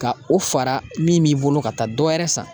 Ka o fara min b'i bolo ka taa dɔ wɛrɛ san